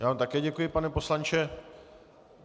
Já vám také děkuji, pane poslanče.